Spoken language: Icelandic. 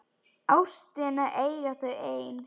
Ástina eiga þau ein.